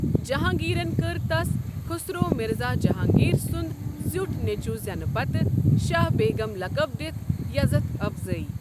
جہانگیٖرن كٕر تس خٗسرو مِرزا جہانگیر سنٛد زیٹھ نیٚچو زینہِ پتہٕ شاہ بیگم لقب دِتھ یزتھ افضٲیی۔